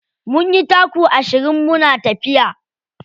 Mun yi taku ashirin muna tafiya.